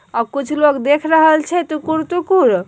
अब कुछ लोग देख रहल छे टुकुर टुकुर --